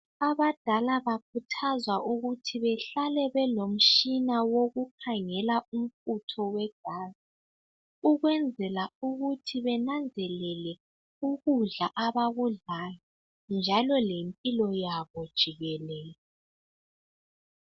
Abadala bakhuthazwa ukuthi behlale belomtshina wokukhangela umfutho wegazi ukwenzela ukuthi benanzelele ukudla abakudlayo njalo lempilo yabo jikelele.